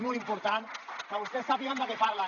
molt important que vostès sàpiguen de què parlen